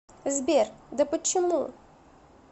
сбер да почему